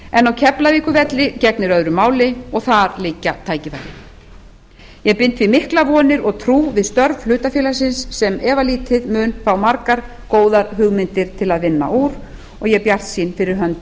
en á keflavíkurflugvelli gegnir öðru máli og þar liggja tækifærin ég bind því miklar vonir og trú við störf hlutafélagsins sem efalítið mun fá margar góðar hugmyndir eitt að vinna úr og ég er bjartsýn fyrir hönd